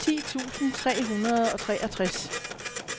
ti tusind tre hundrede og treogtres